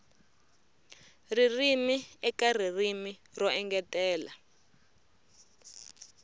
ririmi eka ririmi ro engetela